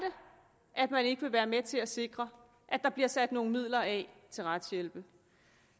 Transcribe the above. man ikke vil være med til at sikre at der bliver sat nogle midler af til retshjælp